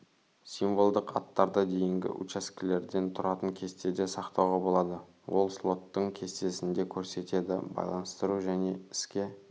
символдық аттарда дейінгі учаскелерден тұратын кестеде сақтауға болады ол слотын кестесінде көрсетеді байланыстыру және іске